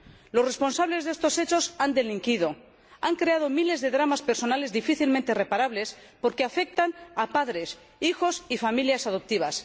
Los responsables de estos hechos han delinquido, han creado miles de dramas personales difícilmente reparables, porque afectan a padres, hijos y familias adoptivas.